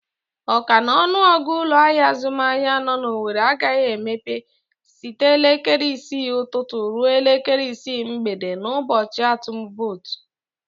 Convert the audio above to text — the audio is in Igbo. Ọ ka n'ọnụ ọgụ ụlọ azụmahịa nọ n'Owere agaghị emepe site elekere isii ụtụtụ ruo elekere isii mgbede n'ụbọchị atum votu.